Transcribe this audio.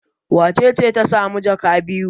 Wace ce ta sami jaka biyu?